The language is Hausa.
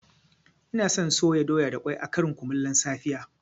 Ina son soya doya da ƙwai a ƙarin kumallon safiya